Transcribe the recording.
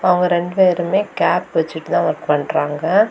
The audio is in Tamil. அவங்க ரெண்டு பேருமே கேப் வச்சுட்டு தான் ஒர்க் பண்றாங்க.